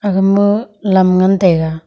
aga ma lam ngan taiga.